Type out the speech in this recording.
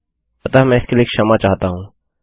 अतः मैं इसके लिए क्षमा चाहता हूँ